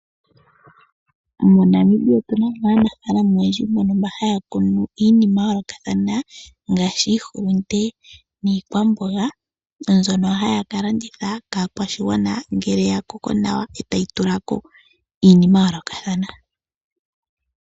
MoNamibia otuna mo aanafalama oyendji mbono haya kunu iinima ya yoolokathana ngaashi iihulunde niikwamboga mbyono haya ka landitha kaakwashigwana ngele ya koko nawa e tayi tula ko iinima ya yoolokathana.